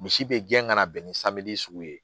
Misi bɛ gɛn ka na bɛn ni sugu ye